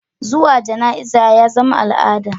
Zuwa jana'iza yazama a'lada